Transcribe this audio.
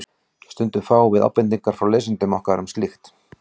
Stundum fáum við ábendingar frá lesendum okkar um slíkt.